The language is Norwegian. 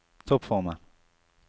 toppformen